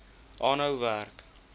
aanhou werk